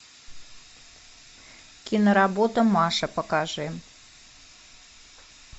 киноработа маша покажи